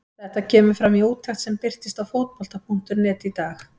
Þetta kemur fram í úttekt sem birtist á Fótbolta.net í dag.